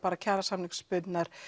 kjarasamningsbundnar